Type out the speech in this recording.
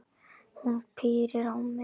Hún pírir á mig augun.